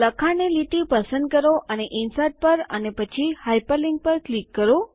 લખાણની લીટી પસંદ કરો અને ઇન્સર્ટ પર અને પછી હાયપરલિંક પર ક્લિક કરો